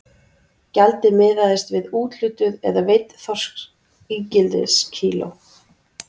Gjaldið miðaðist við úthlutuð eða veidd þorskígildiskíló.